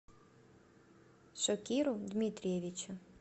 шокиру дмитриевичу